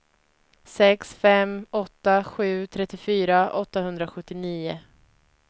sex fem åtta sju trettiofyra åttahundrasjuttionio